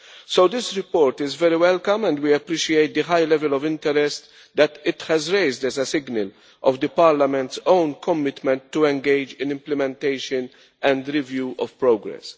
So this report is very welcome, and we appreciate the high level of interest that it has raised as a signal of Parliament's own commitment to engage in implementation and the review of progress.